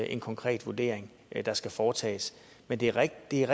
en konkret vurdering der skal foretages men det er rigtigt